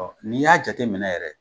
Ɔ n'i y'a jate minɛ yɛrɛ